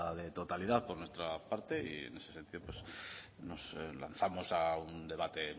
de totalidad por nuestra parte y en ese sentido nos lanzamos a un debate en